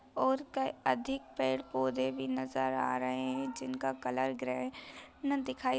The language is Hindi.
और क अधिक पेड़ पौधे भी नजर आ रहे हैं जिन का कलर ग्रे ना दिखाई --